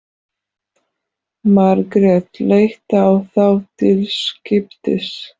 Margrét leit á þá til skiptis.